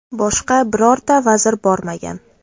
Boshqa birorta vazir bormagan.